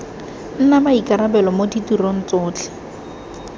nna maikarabelo mo ditirong tsotlhe